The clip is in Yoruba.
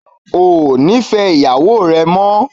Ó ò nífẹ̀ẹ́ ìyàwó rẹ mọ́